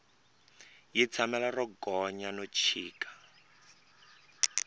yi tshamela ro gonya no chika